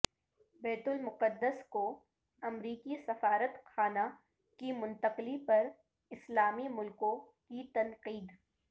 بیت المقدس کو امریکی سفارت خانہ کی منتقلی پر اسلامی ملکوں کی تنقید